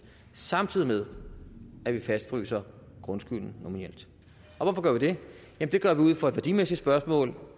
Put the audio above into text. samtidig med at vi fastfryser grundskylden nominelt hvorfor gør vi det det gør vi ud fra et værdimæssigt spørgsmål